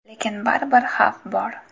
Lekin baribir xavf bor.